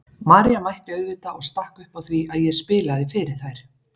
María mætti auðvitað og stakk upp á því að ég spilaði fyrir þær.